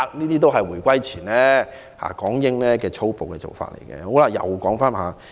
這是回歸前港英政府的粗暴做法。